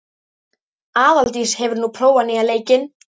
Aðaldís, hefur þú prófað nýja leikinn?